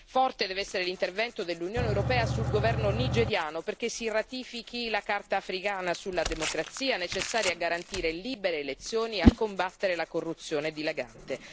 Forte deve essere l'intervento dell'Unione europea nei confronti del governo nigeriano perché ratifichi la Carta africana sulla democrazia, necessaria a garantire libere elezioni e a combattere la corruzione dilagante.